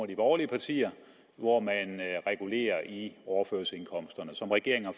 de borgerlige partier hvor man regulerer i overførselsindkomsterne som regeringen har